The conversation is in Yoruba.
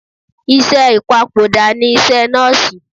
Iṣẹ́ ìpapòdà ni iṣẹ́ nọ́ọ̀sì.